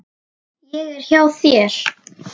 Ég er hjá þér.